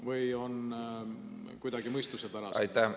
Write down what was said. Või on see kuidagi mõistuspärasem?